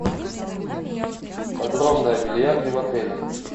подробно о бильярде в отеле